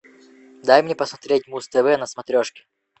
дай мне посмотреть муз тв на смотрешке